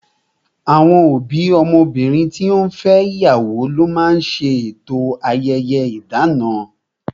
Àwọn òbí ọmọbìnrin to fẹ́ ṣe ìyàwó ló máa ń ṣe eto ayẹyẹ idana